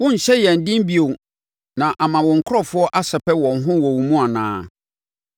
Worenhyɛ yɛn den bio, na ama wo nkurɔfoɔ asɛpɛ wɔn ho wɔ wo mu anaa?